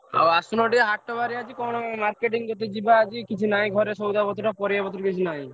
ଆଉ ଆସୁନ ଟିକେ ହାଟ ବାରି ଆଜି marketing କରତେ ଯିବା ଆଜି କିଛି ନହିଁ ଘରେ ସଉଦା ପତ୍ର ପରିବା ପତ୍ର କିଛି ନାହିଁ।